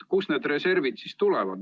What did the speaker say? Kust need reservid siis tulevad?